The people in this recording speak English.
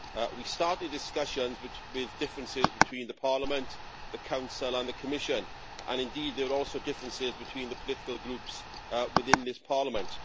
We started discussions with differences between Parliament, the Council and the Commission. And indeed, there are also differences between the political groups within this Parliament.